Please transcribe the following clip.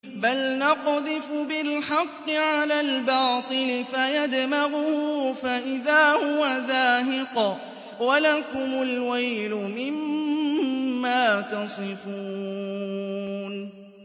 بَلْ نَقْذِفُ بِالْحَقِّ عَلَى الْبَاطِلِ فَيَدْمَغُهُ فَإِذَا هُوَ زَاهِقٌ ۚ وَلَكُمُ الْوَيْلُ مِمَّا تَصِفُونَ